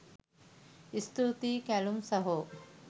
ඉස්තුතියි කැලුම් සහෝ